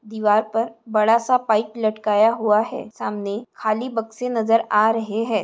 दीवार पर बड़ा सा पाइप लटकाया हुआ है सामने खाली बक्से नजर आ रहे है।